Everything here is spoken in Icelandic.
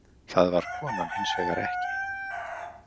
Það var konan hins vegar ekki.